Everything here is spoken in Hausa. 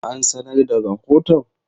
An sanar da rahoton?